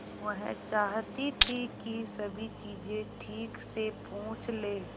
वह चाहती थी कि सभी चीजें ठीक से पूछ ले